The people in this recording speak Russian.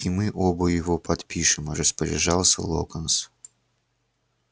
и мы оба его подпишем распоряжался локонс